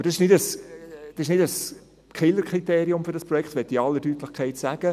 Aber das ist nicht ein Killerkriterium für dieses Projekt, das will ich in aller Deutlichkeit sagen.